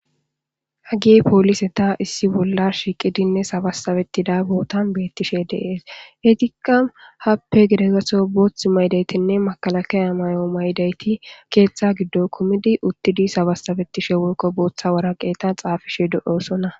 Hagey pooliseta issi bolla shiiqidinne sabasabettida bootan beetishe de'es eetika haape gede gatho boothi mayidaytinne makalakaya mayo mayidaytti keetha gidon kumidi uttidi sabasabetishe woyko bootha waraqeta xaafishe de'osona.